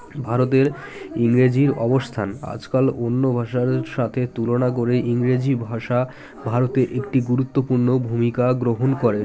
ভারতের ইংরেজির অবস্থান আজকাল অন্য ভাষার সাথে তুলনা করে ইংরেজি ভাষা ভারতে একটি গুরুত্বপূর্ণ ভূমিকা গ্রহণ করে